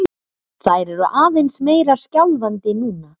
Þær eru aðeins meira skjálfandi núna